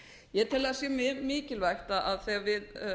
ég tel að sé mjög mikilvægt að þegar við